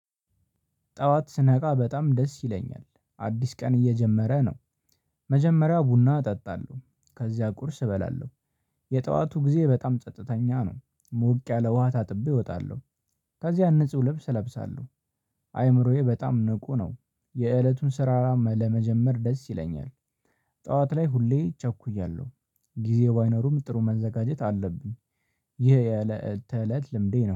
ጠዋት ስነቃ በጣም ደስ ይለኛል፤ አዲስ ቀን እየጀመረ ነው መጀመሪያው ቡና እጠጣለሁ ከዚያ ቁርስ እበላለሁ የጠዋቱ ጊዜ በጣም ጸጥተኛ ነው፤ ሞቅ ያለ ውሃ ታጥቤ እወጣለሁ፤ ከዚያ ንጹህ ልብስ እለብሳለሁ፤ አይምሮዬ በጣም ንቁ ነው የእለቱን ስራራ ለመጀመር ደስ ይለኛል ጠዋት ላይ ሁሌ ቸኩያለሁ ጊዜው ባይኖርም ጥሩ መዘጋጀት አለብኝ። ይሄ የለኧትተለት ልምዴ ነው